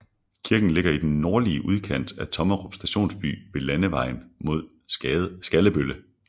Kirken ligger i den nordlige udkant af Tommerup Stationsby ved landevejen mod Skallebølle